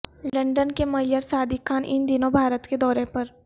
London کے mayor Sadiq Khan ان دنوں بھارت کے دورے پر